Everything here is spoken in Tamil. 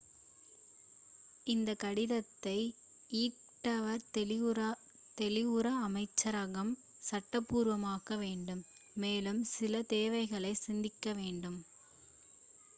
இந்தக் கடிதத்தை ஈக்வடார் வெளியுறவு அமைச்சரகம் சட்டபூர்வமாக்க வேண்டும் மேலும் சில தேவைகளை சந்திக்க வேண்டும்